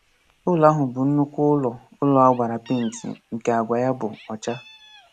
Ụlọ ahụ bụ nnukwu ụlọ ụlọ a gbara penti nke agwa ya bụ ọcha